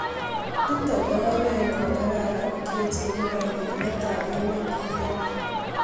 Nitok ko oret me kararan kechenge kandot ap emet ne lel.